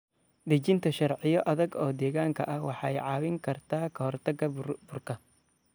Dejinta sharciyo adag oo deegaanka ah waxay caawin kartaa ka hortagga burburka.